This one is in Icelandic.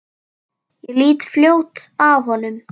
Ég lít fljótt af honum.